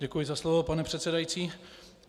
Děkuji za slovo, pane předsedající.